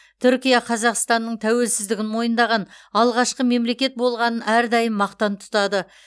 түркия қазақстанның тәуелсіздігін мойындаған алғашқы мемлекет болғанын әрдайым мақтан тұтады